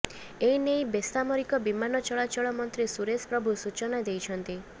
ଏନେଇ ବେସାମରିକ ବିମାନ ଚଳାଚଳ ମନ୍ତ୍ରୀ ସୁରେଶ ପ୍ରଭୁ ସୂଚନା ଦେଇଛନ୍ତି